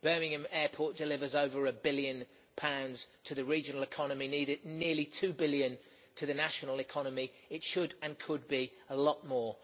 Birmingham airport delivers over GBP 1 billion to the regional economy and nearly GBP 2 billion to the national economy. It should and could be a lot more.